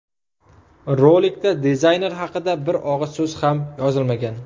Rolikda dizayner haqida bir og‘iz so‘z ham yozilmagan.